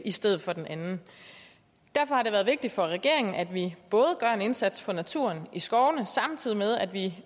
i stedet for den anden derfor har det været vigtigt for regeringen at vi både gør en indsats for naturen i skovene samtidig med at vi